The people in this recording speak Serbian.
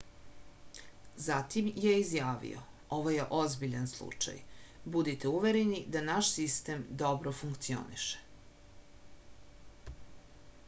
zatim je izjavio ovo je ozbiljan slučaj budite uvereni da naš sistem dobro funkcioniše